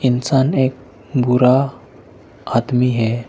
इंसान एक गोरा आदमी है।